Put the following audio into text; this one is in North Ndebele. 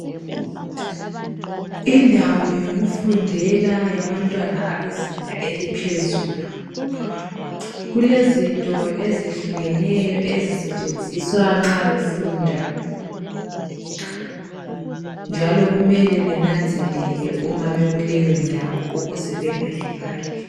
Indawo yokufundela yabantwana abezinga eliphezulu kulezinto ezihlukeneyo ezisetshenziswa nxa befunda njalo kumele benanzelela uma bekuleyo ndawo ukuze bengalimali.